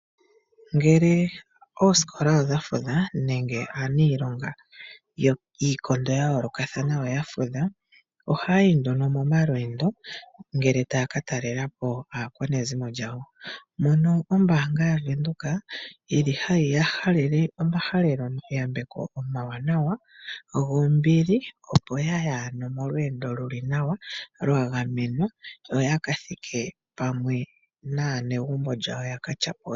Ngele oosikola odha fudha nenge aaniilonga yiikondo ya yoolokathana oya fudha, ohaya yi nduno momalweendo ngele taya ka talela po aakwanezimo yawo. Mono ombaanga yaVEnduka hayi ya halele omahaleloyambeko omawanawa, gombili, opo ya ye molweendo lu li nawa, lwa gamenwa yo ya ka thike pamwe naanegumbo lyawo ya ka tyapule.